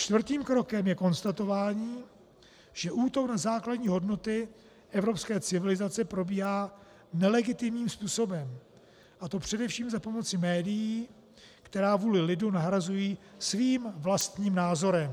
Čtvrtým krokem je konstatování, že útok na základní hodnoty evropské civilizace probíhá nelegitimním způsobem, a to především za pomoci médií, která vůli lidu nahrazují svým vlastním názorem.